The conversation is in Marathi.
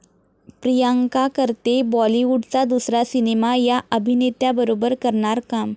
प्रियांका करतेय बाॅलिवूडचा दुसरा सिनेमा, 'या' अभिनेत्याबरोबर करणार काम